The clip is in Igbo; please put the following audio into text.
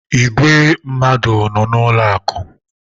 Ìgwè mmadụ nọ n’ụlọ akụ̀.